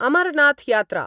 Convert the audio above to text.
अमरनाथयात्रा